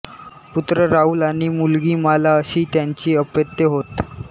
पुत्र राहुल आणि मुलगी माला अशी त्यांची अपत्ये होत